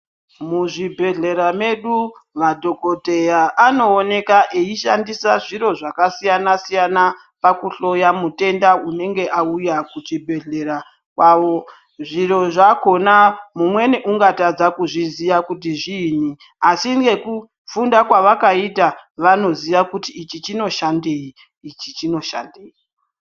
Muzvibhedhlera medu madhogodheya anooneka eishandisa zviro zvakasiyana-siyana pakuhloya mutenda unenge auyaa kuchibhedhlera kwawo, zviro zvakhona mumweni ungatadza kuzviziya kuti zviinyi asi ngekufunda kwavakaita vanoziya kuti ichi chinoshandei, ichi chinoshandeyi.